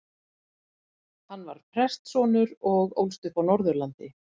Hann var prestssonur og ólst upp á Norðurlandi.